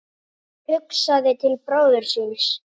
Hugsaði til bróður síns.